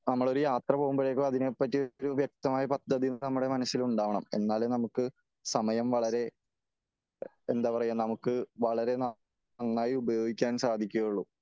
നമ്മൾ ഒരു യാത്ര പോകുമ്പോഴേക്കും അതിനെ പറ്റി ഒരു വ്യക്തമായ പദ്ധതി നമ്മുടെ മനസ്സില് ഉണ്ടാകണം . എന്നാലേ നമുക്ക് സമയം വളരെ എന്താ പറയാ നമുക്ക് വളരെ നന്നായി ഉപയോഗിക്കാൻ സാധിക്കുകയുള്ളു .